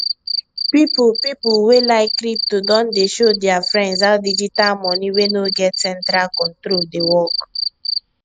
people people wey like crypto don dey show their friends how digital money wey no get central control dey work